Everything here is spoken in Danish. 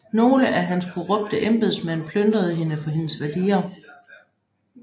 Nogle af hans korrupte embedsmænd plyndrede hende for hendes værdier